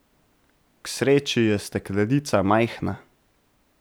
K sreči je steklenica majhna.